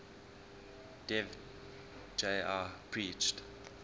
dev ji preached